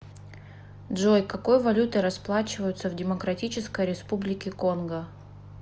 джой какой валютой расплачиваются в демократической республике конго